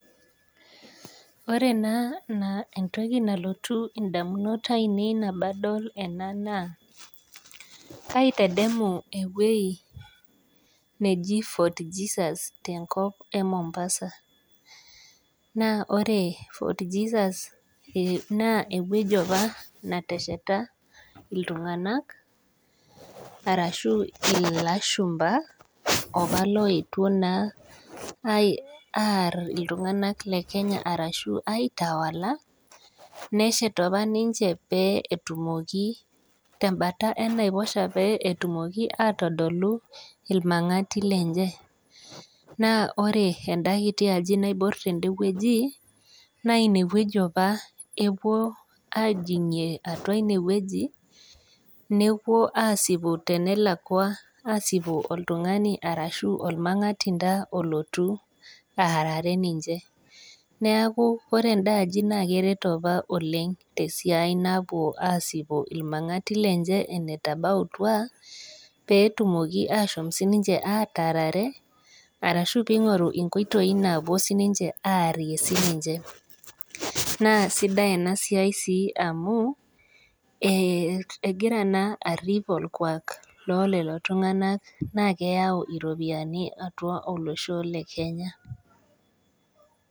Wore naa entoki nalotu indamunot aiinei tenadol ena naa, kaitadamu ewoji neji Fort Jesus tenkop e Mombasa. Naa wore fort Jesus naa ewoji apa netesheta iltunganak, arashu ilashumba, opa laeotuo naa aarr iltunganak lekenya arashu aitawala, neshet apa ninche pee etumoki tembata enaiposha pee etumoki aatodolu ilmangati lenche. Naa wore enda kiti aji naiborr tenewoji, naa inewoji apa epuo aajingie atua inewoji, nepuo aasipu tenelakwa aasipu oltungani ashu olmangatinda oloti aarare ninche. Neeku wore endaaji naa keret apa oleng' tesiai napuo aasipu ilmangati lenche enetabautwa, pee etumoki aashom sininche aataarare, arashu pee ingoru inkoitoi naapuo sininche aarie sininche. Naa sidai inia siai sii amu, ekira sii arrip orkuak loo lelo tunganak naa keyau iropiyani atua olosho le Kenya.